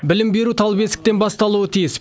білім беру тал бесіктен басталуы тиіс